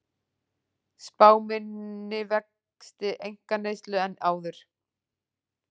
Spá minni vexti einkaneyslu en áður